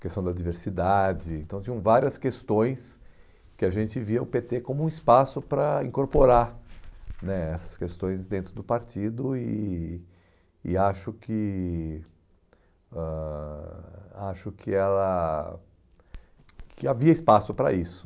questão da diversidade, então tinham várias questões que a gente via o pê tê como um espaço para incorporar né essas questões dentro do partido e e acho que ãh acho que ela que havia espaço para isso.